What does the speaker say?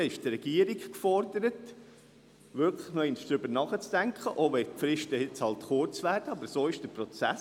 Dann ist die Regierung gefordert, wirklich noch einmal darüber nachzudenken, auch wenn die Fristen halt jetzt kurz werden, aber so ist hier der Prozess.